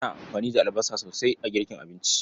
Ana amfani da albasa sosai a girkin abinci.